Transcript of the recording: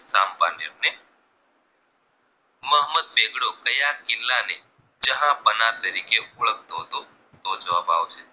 મોહમ્મદ બેગડો ક્યાં કિલ્લા ને જહાઁપના તરીકે ઓળખતો હતો તો જવાબ આવશે